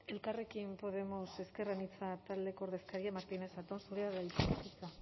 elkarrekin podemos ezker anitza taldeko ordezkaria martínez zatón zurea da hitza